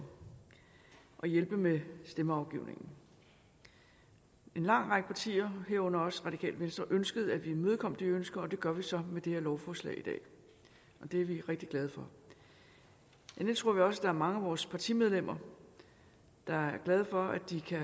for at hjælpe med stemmeafgivningen en lang række partier herunder også radikale venstre ønskede at imødekomme de ønsker og det gør vi så med det her lovforslag i dag det er vi rigtig glade for endelig tror vi også er mange af vores partimedlemmer der er glade for at de kan